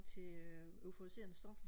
til øh euforiserende stoffer